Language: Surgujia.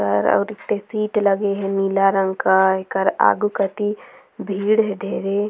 कर अऊ रिक्त सीट लगे हे नीला रंग का एकर आगु कोती भीड़ धेवे ।